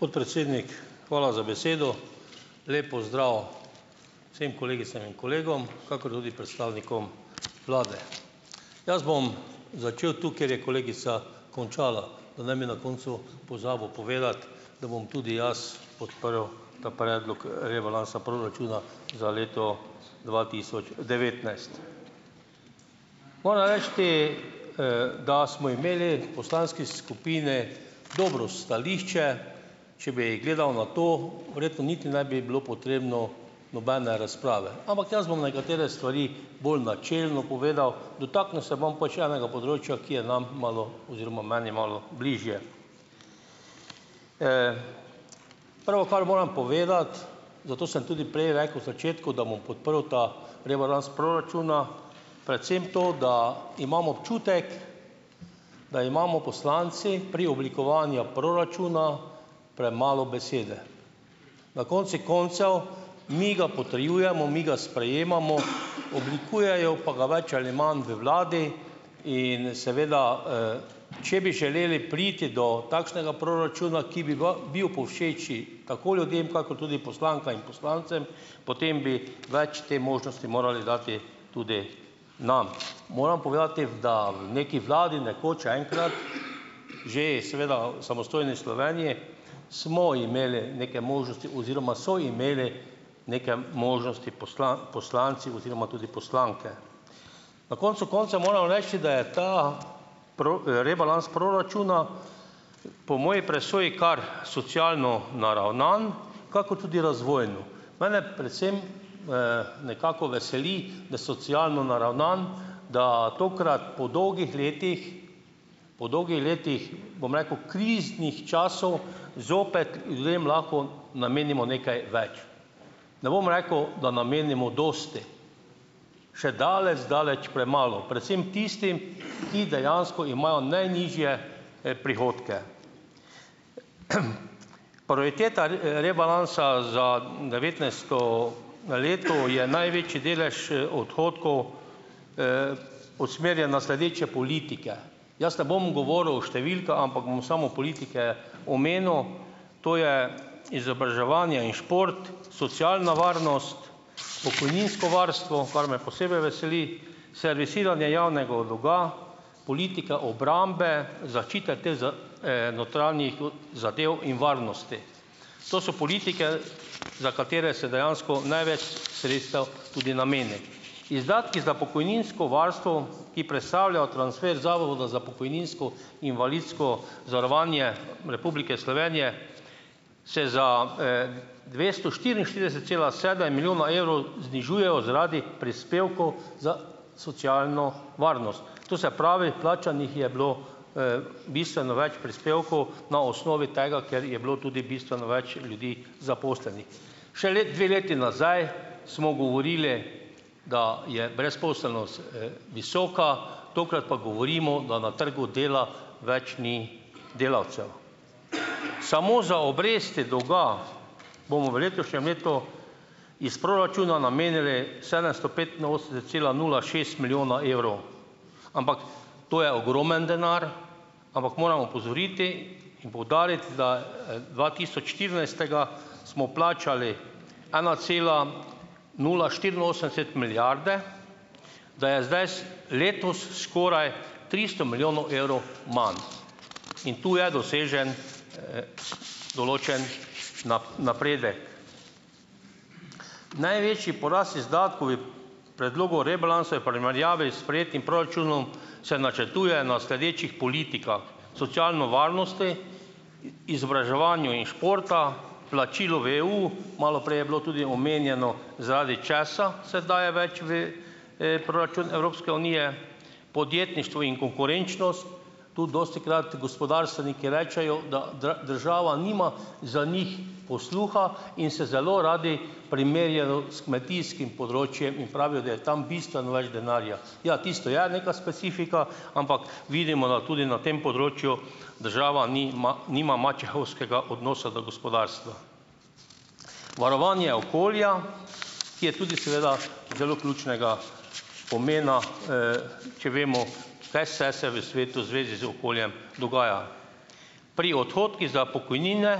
Podpredsednik, hvala za besedo. Lep pozdrav vsem kolegicam in kolegom, kakor tudi predstavnikom vlade! Jaz bom začel tu, kjer je kolegica končala. Da ne bi na koncu pozabil povedati, da bom tudi jaz podprl ta predlog, rebalansa proračuna za leto dva tisoč devetnajst. Moram reči, da smo imeli poslanski skupini dobro stališče, če bi gledal na to, verjetno niti ne bi bilo potrebno nobene razprave. Ampak jaz bom nekatere stvari bolj načelno povedal, dotaknil se bom pač enega področja, ki je nam malo, oziroma meni, malo bližje. Prvo, kar moram povedati zato sem tudi prej rekel, v začetku, da podprl ta rebalans proračuna, predvsem to, da imam občutek, da imamo poslanci pri oblikovanja proračuna premalo besede. Na koncu koncev mi ga potrjujemo, mi ga sprejemamo, oblikujejo pa ga več ali manj v vladi in seveda, če bi želeli priti do takšnega proračuna, ki bi v bil povšeči tako ljudem kakor tudi in poslancem, potem bi več te možnosti morali dati tudi nam. Moram povedati, da v neki vladi, nekoč enkrat , že, seveda, samostojni Sloveniji smo imeli neke možnosti oziroma so imeli neke možnosti poslanci oziroma tudi poslanke. Na koncu koncev moram reči, da je ta rebalans proračuna po moji presoji kar socialno naravnan, kakor tudi razvojno. Mene predvsem, nekako veseli, da socialno naravnan, da tokrat po dolgih letih po letih, bom rekel, kriznih časov, zopet ljudem lahko namenimo nekaj več. Ne bom rekel, da namenimo dosti. Še zdaleč premalo. Predvsem tistim, ki dejansko imajo najnižje, prihodke. Prioriteta rebalansa za devetnajsto leto je največji delež odhodkov, usmerjena sledeče politike. Jaz ne bom govoril o ampak bom samo politike omenil. To je izobraževanje in šport, socialna varnost, pokojninsko varstvo , kar me posebej veseli, servisiranje javnega dolga, politika obrambe, notranjih, zadev in varnosti. To so politike, za katere se dejansko največ sredstev tudi nameni. Izdatki za pokojninsko varstvo, ki predstavljajo transfer Zavoda za pokojninsko invalidsko zavarovanje Republike Slovenje, se za, dvesto štiriinštirideset cela milijona evrov znižujejo zaradi prispevkov za socialno varnost. To se pravi, plačanih je bilo, bistveno več prispevkov na osnovi tega, ker je bilo tudi bistveno več ljudi zaposlenih. Šele dve leti nazaj smo govorili, da je brezposelnost, visoka, tokrat pa govorimo, da na trgu dela več ni delavcev. Samo za obresti dolga bomo v letošnjem letu iz proračuna namenili sedemsto cela nula šest milijona evrov. ampak, to je ogromen denar, ampak moram opozoriti in poudariti, da, dva tisoč štirinajstega smo plačali ena cela nula štiriinosemdeset milijarde, da je zdaj s letos skoraj tristo milijonov evrov manj in tu je dosežen, določen napredek. Največji porast izdatkov predlogu rebalansa je v primerjavi s sprejetim proračunom, se načrtuje na sledečih politikah; socialno varnosti, izobraževanju in športa, plačilo v EU, malo prej je bilo tudi omenjeno, zaradi česa se daje več v, proračun Evropske unije, podjetništvu in konkurenčnost, tudi dostikrat gospodarstveniki rečejo, da država nima za njih posluha, in se zelo radi primerjajo s kmetijskim področjem in pravijo, da je tam bistveno več denarja. Ja, tisto je neka specifika, ampak vidimo, da tudi na tem področju država nima nima mačehovskega odnosa do gospodarstva. Varovanje okolja , ki je tudi seveda zelo ključnega pomena, če vemo , kaj vse se v svetu v zvezi z okoljem dogaja. Pri za pokojnine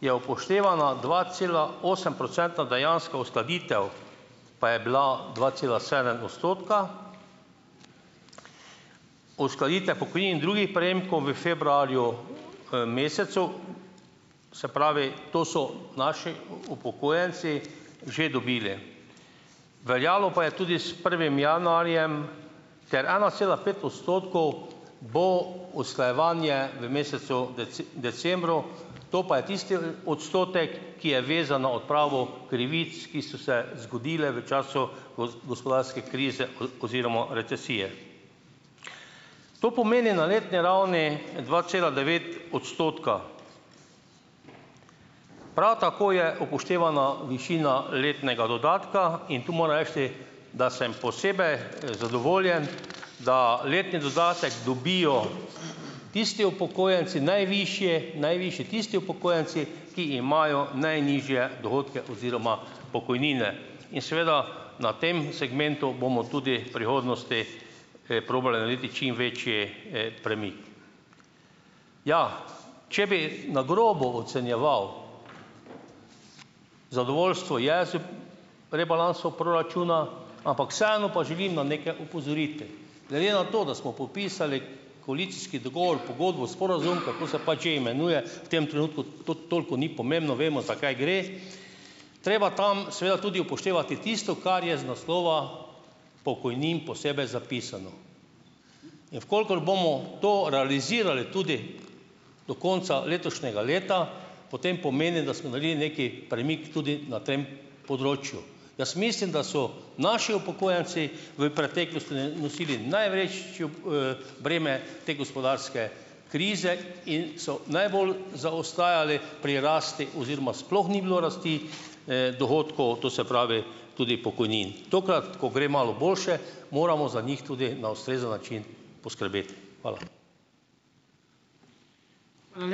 je upoštevana dva cela osem procenta dejanska uskladitev, pa je bila dva cela sedem odstotka, uskladitve pokojnin in drugih prejemkov v februarju, mesecu, se pravi, to so naši upokojenci že dobili, veljalo pa je tudi s prvim januarjem, ker ena cela pet odstotkov bo usklajevanje v mesecu decembru, to pa je tisti odstotek, ki je vezan na odpravo krivic, ki so se zgodile v času gospodarske krize oziroma recesije. To pomeni na letni ravni dva cela devet odstotka. Prav tako je upoštevana višina letnega dodatka, in tu moram reči, da sem zadovoljen, da letni dodatek dobijo tisti upokojenci najvišje, najvišje, tisti upokojenci, ki imajo najnižje dohodke oziroma pokojnine. In seveda, na tem segmentu bomo tudi v prihodnosti, probali narediti čim večji, Ja, če bi na grobo ocenjeval, zadovoljstvo je z, proračuna, ampak vseeno pa želim na nekaj opozoriti. Glede na to, da smo podpisali koalicijski dogovor, pogodbo, sporazum, kako se pač že imenuje , v tem trenutku to toliko ni pomembno, vemo, za kaj gre. Treba tam seveda tudi upoštevati tisto, kar je z naslova pokojnin posebej zapisano. In v kolikor bomo to realizirali tudi do konca letošnjega leta, potem pomeni, da smo naredili neki premik tudi na tem področju. Jaz mislim, da so naši upokojenci v preteklosti nosili breme te gospodarske krize in so najbolj zaostajali pri rasti oziroma sploh ni bilo rasti, dohodkov, to se pravi, tudi pokojnin. Tokrat, ko gre malo boljše, moramo za njih tudi na ustrezen način poskrbeti. Hvala. Hvala ...